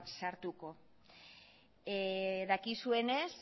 sartuko dakizuenez